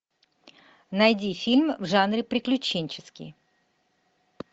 найди фильм в жанре приключенческий